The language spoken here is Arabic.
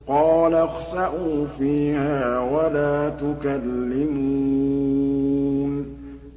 قَالَ اخْسَئُوا فِيهَا وَلَا تُكَلِّمُونِ